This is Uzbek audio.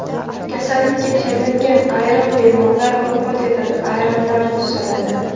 Kasallikka chalingan ayrim bemorlar vafot etadi, ayrimlari tuzaladi.